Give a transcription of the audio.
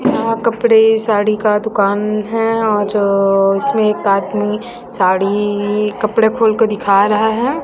यहां कपड़े साड़ी का दुकान है औ जो इसमे एक आदमी साड़ी इ कपड़े खोलकर दिख रहा है।